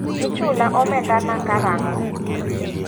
Ichula omenda na karang'o?